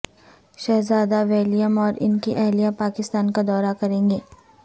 شہزادہ ولیم اور ان کی اہلیہ پاکستان کا دورہ کریں گے